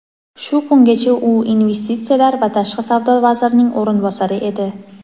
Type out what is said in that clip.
Shu kungacha u investisiyalar va tashqi savdo vazirining o‘rinbosari edi.